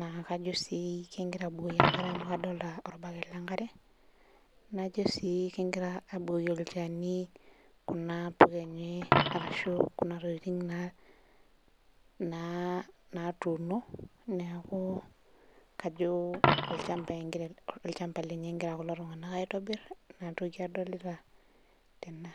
najo si kegira abukoki enkare amu adolita orbaket lenkare najo si kegirai abukoki olchani kuna tokitin natuuno neaku kajo olchamba lenye egira kulo tunganak aitobiraki inatoki adolita tena.